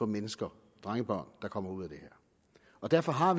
mennesker drengebørn der kommer ud af det og derfor har